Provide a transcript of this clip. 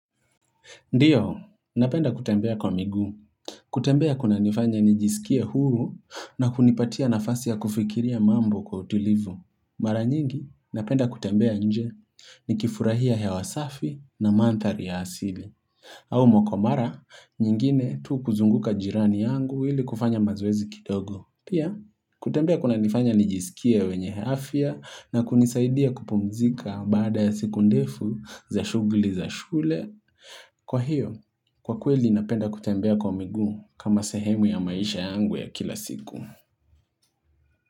Ndiyo, napenda kutembea kwa miguu. Kutembea kunanifanya nijisikie huru na hunipatia nafasi ya kufikiria mambo kwa utilivu. Maraa nyingi, napenda kutembea nje nikifurahia hewa safi na manthari ya asili. Au mara nyingine tu kuzunguka jirani yangu ili kufanya mazoezi kidogo. Pia, kutembea kunanifanya nijisikia wenye hafia na kunisaidia kupumzika baada ya siku ndefu za shugli za shule. Kwa hiyo, kwa kweli napenda kutembea kwa miguu kama sehemu ya maisha yangu ya kila siku.